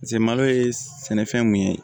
Paseke malo ye sɛnɛfɛn mun ye